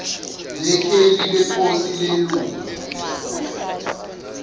nekheli leposi lelunga